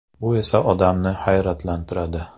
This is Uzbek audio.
Bu esa odamni hayratlantiradi.